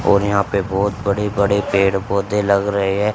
और यहां पे बहोत बड़े बड़े पेड़ पौधे लग रहे है।